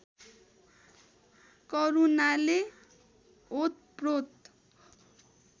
करुणाले ओतप्रोत